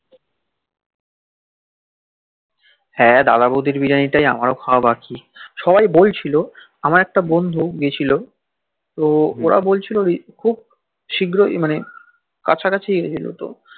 হাঁ দাদা বউদির বিরিয়ানি টাই আমার খাওয়া বাকি সবাই বলছিল আমার একটা বন্ধু গিয়েছিল তো অরা বলছিল খুব সিঘ্রই মানে খুব কাছাকাছি